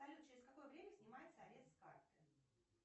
салют через какое время снимается арест с карты